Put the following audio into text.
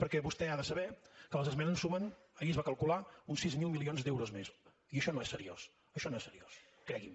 perquè vostè ha de saber que les esmenes sumen ahir es va calcular uns sis mil milions d’euros més i això no és seriós això no és seriós cregui’m